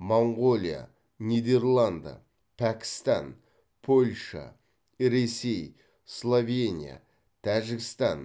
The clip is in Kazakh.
моңғолия нидерланды пәкістан польша ресей словения тәжікстан